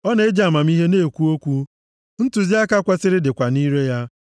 Ọ na-eji amamihe na-ekwu okwu ntụziaka kwesiri dịkwa nʼire ya.